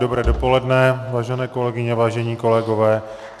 Dobré dopoledne, vážené kolegyně, vážení kolegové.